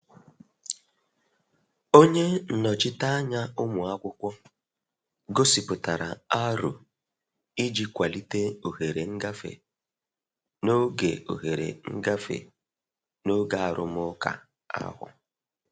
Onye nnochite anya ụmụakwụkwọ gosipụtara aro i ji kwalite ohere ngafe n'oge ohere ngafe n'oge arụmụka ahụ.